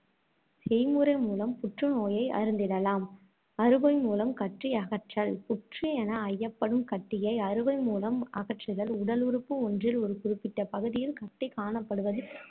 செய்முறை மூலம் புற்று நோயை அறிந்திடலாம். அறுவைமூலம் கட்டி கற்றல் புற்று என ஐயப்படும் கட்டியை அறுவை மூலம் அகற்றுதல் உடல் உறுப்பு ஒன்றில் ஒரு குறிப்பிட்ட பகுதியில் கட்டி காணப்படுவது